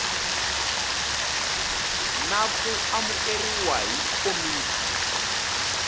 na ku amukeriwa hi komiti